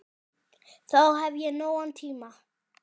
Þá hef ég nógan tíma.